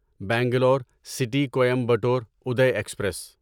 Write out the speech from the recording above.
Bangalore city Coimbatore Uday express